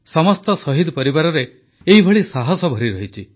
ସମସ୍ତ ଶହୀଦ ପରିବାରରେ ଏଭଳି ସାହସ ଭରିରହିଛି